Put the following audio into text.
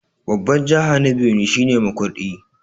Babbar jiha na Benue shi ne Makurdi.